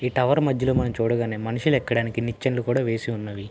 ఈ టవర్ మధ్యలో మనం చూడగానే మనుషులు ఎక్కడానికి ఒక నిచ్చెను కూడా వేసి ఉన్నవి.